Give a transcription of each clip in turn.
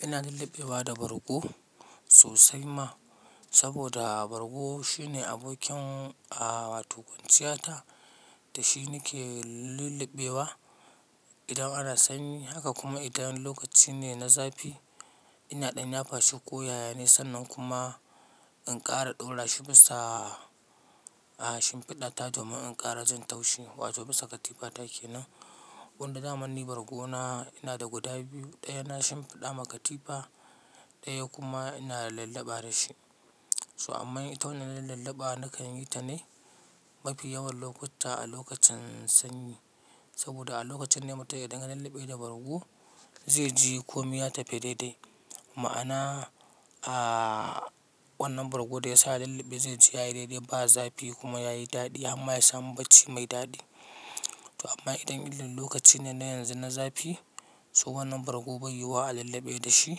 Ina lullubewa da bargo, sosai ma, saboda bargo shine abokin a wato kwanciyata da shi nake lullubewa, idan ana sanyi. Haka kuma idan lokaci ne na zafi, ina ɗan yafa shi ko yaya ne, sannan kuma in ƙara ɗaura shi bisa, a shinfiɗa ta domin in ƙara jin taushe. Wato bisa katifata ke nan. Wanda zamanin bargona ina da guda biyu, ɗaya na shinfiɗa ma katifa, ɗaya kuma ina lulluɓa da shi. To amma ita wanne lulliɓa nakan yi ta ne, mafi yawan lokutta a lokacin sanyi. Saboda a lokacin ne mutum yadiga lulluɓe da bargo, zai ji komi ta fi daidai. Ma'ana, a wannan bargo da ya sa ina lallabe zai ji yayi daidai ba zafi kuma yayi daɗi amma ya samu bacci mai daɗi. To amma idan illin lokaci ne na yanzu na zafi, to wannan bargo bai yiwuwa a lulluɓe da shi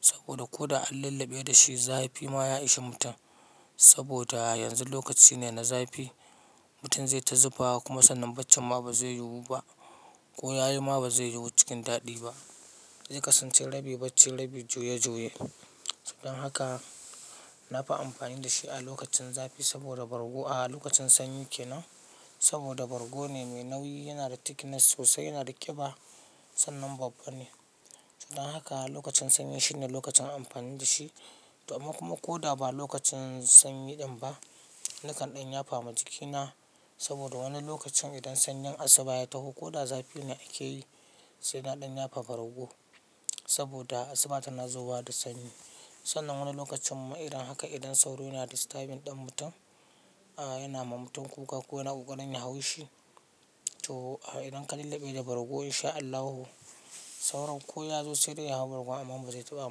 saboda ko da an lallabe da shi zafi ma ya ishe mutum. Saboda yanzu lokaci ne na zafi, mutum zai ta zufa kuma sannan baccin ma baze yiwu ba. Ko yayo ma ba zai yiwu cikin daɗi ba. Ze kasance rabi bacci rabi juya juye. Dan haka nafi amfani da shi a lokacin zafi saboda bargo a lokacin sanyi ke nan. Saboda bargo ne mai nauyi, yana da thickness sosai, yana da ƙiba sannan babba ne. Dan haka lokacin sanyi shine lokacin amfani da shi. To amma kuma ko da ba lokacin sanyi ɗan ba, nakan ɗan yafa ma jikina saboda wani lokacin idan sanyin asuba ya taho ko da zafi ne ake yi, sai na ɗanya fafa rago. Saboda asuba tana zowa da sanyi. Sannan wani lokacin ma idan haka idan sauro yana da starving ɗan mutum, a yana ma mutum kuka ko yana ƙoƙarin ya hau shi. To idan ka lallabe da bargo in sha Allahu, sauron ko ya zo sai dai ya hau bargo, amma ba zai taɓa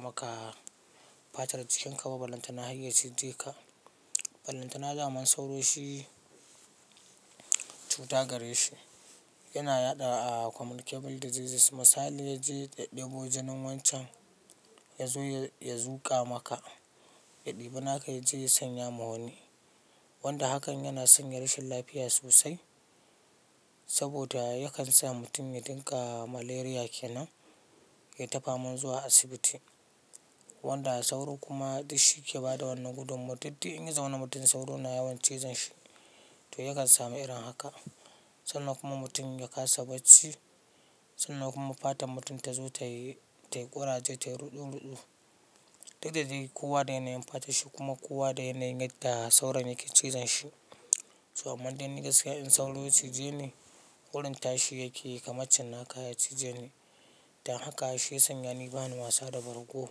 maka fatar jikinka ba. Ballanta na hayayya cije ka, ballanta na zaman sauro shi cuta gare shi. Yana yaɗa a communicable diseases. Misali ya je ya ɗebo jinin wancan, ya zo ya zuƙa maka, ya ɗibi naka ya je ya sanya ma wani. Wanda hakan yana sanya rashin lafiya sosai, saboda yakan sa mutum ya dinga malaria ke nan, ya ta faman zuwa asibiti. Wanda sauro kuma duk shi yake bada wannan gudunmawa. Diddi in ya zamana mutum sauro na yawan cizon shi to yakan samu irin haka. Sannan kuma mutum ya kasa bacci, sannan kuma fatar mutum tazo ta yi tai ƙuraje tai ruɗu ruɗu. Diddadai kowa dai yana yi fatar shi, kuma kowa dai yana yi gadda sauron yake cizon shi. To amma dan ni gaskiya in sauro ya cije ni, gurin tashi yake yi kamar can naka ya cije ni. Dan haka, shi ya sanya ni bani wasa da bargo.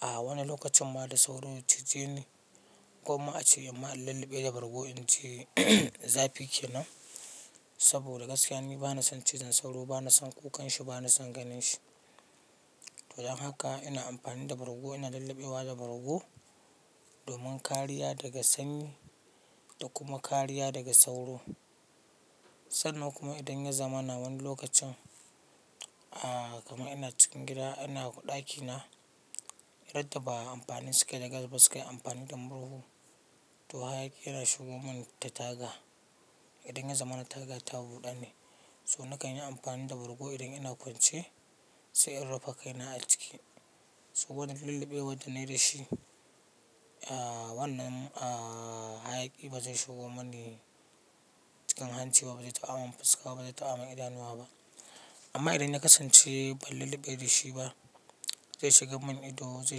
A wani lokacin ma da sauro ya cije ni, gwamma ace in ma in lulluɓe da bargo in ji zafi ke nan. Saboda gaskiya n bani son cizon sauro, bani son kukan shi, bani son ganin shi. To dan haka ina amfani da bargo, ina lulluɓewa da bargo, domin kariya daga sanyi, da kuma kariya daga sauro. Sannan kuma idan ya zamana wani lokacin, a kamar ina cikin gida ina ɗakina, radda ba a amafani sukai da gas ba suka yi amfani da murhu, to hayaƙi yana shigo mun ta taga. Idan ya zama na taga ta a buda ne. So nakan yi amfani da bargo idan ina kwance, sai in rufe kai na a ciki. Soboda lulluɓewad da nai da shi, a wannan a hayaƙi ba zai shigo mani cikin hanci ba, ba zai taɓa mun fuska ba, ba zai taɓa mun idanuwa ba. Amma idan na kasance ban lulluɓe da shi ba, zai shiga mun ido, zai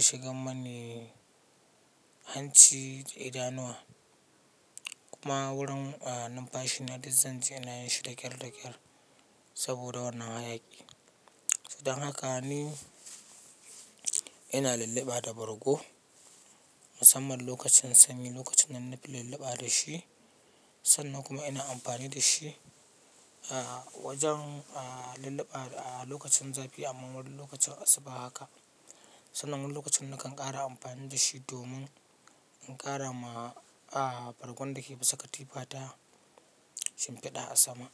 shiga mani hanci da idanuwa. Kuma wurin a numfashi na dizzan ji yana yin shi daƙyar daƙyar, saboda wannan hayaƙi. Dan haka ni, ina lulluɓa da bargo, musamman lokacin sanyi locacinnan nafi lulluɓa da shi. Sannan kuma ina amfani da shi a wajen a lulluɓa a lokacin zafi amma wurin lokacin asuba haka. Sannan wani lokacin nakan ƙara amfani da shi domin, in ƙara ma a bargon da ke bisa katifa ta, shinfiɗa a sama.